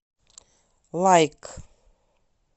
лайк